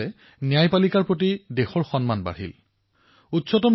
সঁচা অৰ্থতেই এই ৰায়দান আমাৰ ন্যায়পালিকাৰ বাবেও মাইলৰ খুঁটি হিচাপে বিবেচিত হল